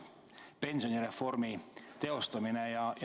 See on pensionireformi teostamine.